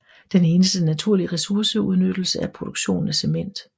Den eneste naturlige ressourceudnyttelse er produktionen af cement